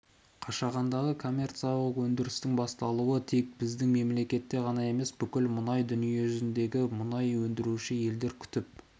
қашағандағы коммерциялық өндірістің басталуы тек біздің мемлекет қана емес бүкіл мұнай дүниежүзіндегі мұнай өндіруші елдер күтіп